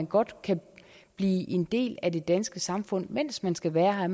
godt kan blive en del af det danske samfund mens man skal være her